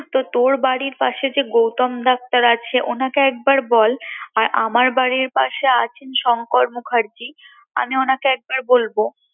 তো তোর বাড়ির পাশে যে গৌতম ডাক্তার আছে ওনাকে একবার বল আর আমার বাড়ির পাশে আছেন শঙ্কর মুখার্জী আমি ওনাকে একবার বলবো